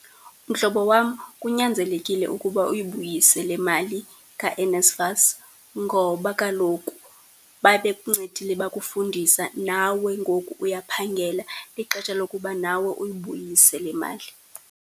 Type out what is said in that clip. Mhlobo wam, kunyanzelekile ukuba uyibuyise le mali kaNSFAS ngoba kaloku babe kuncedile bakufundisa. Nawe ngoku uyaphangela, lixesha lokuba nawe uyibuyise le mali.